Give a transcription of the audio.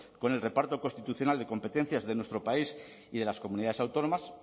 con el reparto constitucional de competencias de nuestro país y de las comunidades autónomas